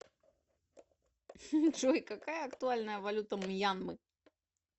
джой какая актуальная валюта мьянмы